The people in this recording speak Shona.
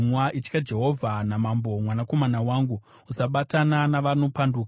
Itya Jehovha namambo, mwanakomana wangu, usabatana navanopanduka,